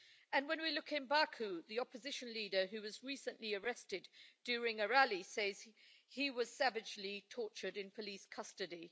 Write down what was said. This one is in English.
And when we look at Baku, the opposition leader who was recently arrested during a rally says he was savagely tortured in police custody.